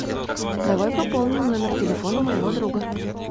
давай пополним номер телефона моего друга